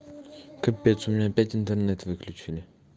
капец у меня опять интернет выключенный